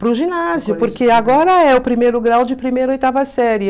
Para o ginásio, porque agora é o primeiro grau de primeira oitava série.